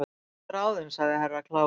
Þú ert ráðin sagði Herra Kláus.